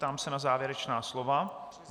Ptám se na závěrečná slova.